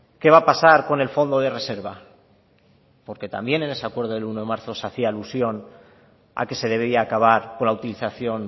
qué va a pasar con el fondo de reserva porque también en ese acuerdo del uno de marzo se hacía alusión a que se debería acabar con la utilización